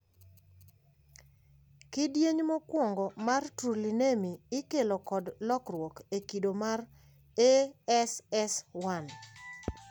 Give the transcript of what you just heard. Kidieny mokuongo mar trullinemi ikelo kod lokruok e kido mar ASS1.